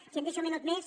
si em deixa un mi·nut més